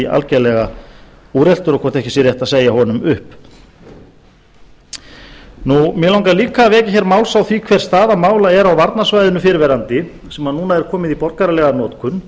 algerlega úreltur og hvort ekki sé rétt að segja honum upp mig langar líka að vekja máls á því hver staða mála er á varnarsvæðinu fyrrverandi sem núna er komin í borgaralega notkun